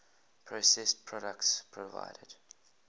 processed products provided